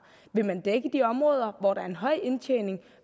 vil man dække de områder hvor der er en høj indtjening